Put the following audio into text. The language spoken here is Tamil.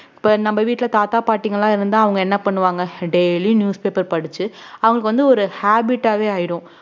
இப்ப நம்ம வீட்டுல தாத்தா பாட்டிங்கெல்லாம் இருந்தா அவுங்க என்ன பண்ணுவாங்க daily newspaper படிச்சு அவுங்க வந்து ஒரு habit ஆவே ஆயிடும்